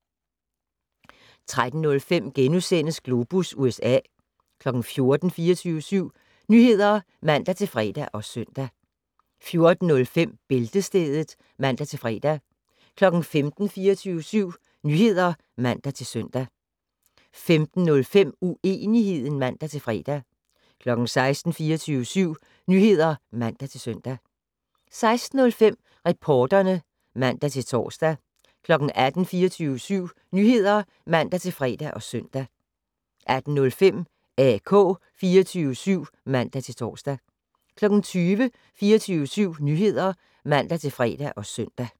13:05: Globus USA * 14:00: 24syv Nyheder (man-fre og søn) 14:05: Bæltestedet (man-fre) 15:00: 24syv Nyheder (man-søn) 15:05: Uenigheden (man-fre) 16:00: 24syv Nyheder (man-søn) 16:05: Reporterne (man-tor) 18:00: 24syv Nyheder (man-fre og søn) 18:05: AK 24syv (man-tor) 20:00: 24syv Nyheder (man-fre og søn)